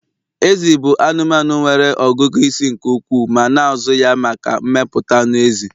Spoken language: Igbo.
Ezi bụ anụmanụ nwere ọgụgụ isi nke ukwuu ma na-azụ ya maka mmepụta anụ ezi.